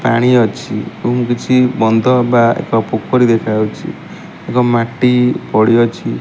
ପାଣି ଅଛି ଏବଂ କିଛି ବନ୍ଧ ବା ଏକ ପୋଖରୀ ଦେଖା ଯାଉଛି ଏବଂ ମାଟି ପଡ଼ି ଅଛି।